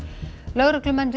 lögreglumenn